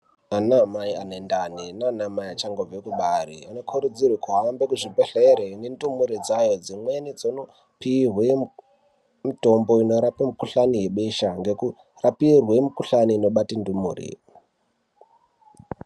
Ana mai ane ndani nana mai achangobva kubare anokurudzirwa kuhambe kuzvibhedhlera nendumure dzayo dzimweni dzinopihwa mutombo unorapa mukuhlani webesha ngekurapirwa mukuhlani inobata ndumure.